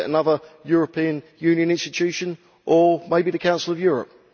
Is it another European Union institution, or maybe the Council of Europe?